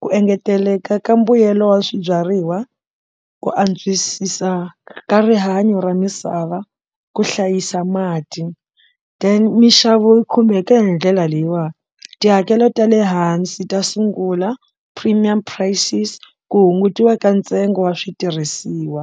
ku engeteleka ka mbuyelo wa swibyariwa ku antswisisa ka rihanyo ra misava ku hlayisa mati then minxavo yi khumbeka hi ndlela leyiwa tihakelo ta le hansi ta sungula premium prices ku hungutiwa ka ntsengo wa switirhisiwa.